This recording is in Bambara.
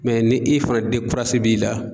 ni e fana b'i la